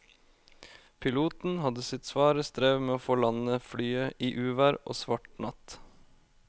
Piloten hadde sitt svare strev med å få landet flyet i uvær og svart natt.